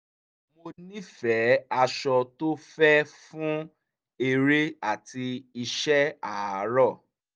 mo nífẹ̀ẹ́ aṣọ tó fẹ́ fún eré àti iṣẹ́ àárọ̀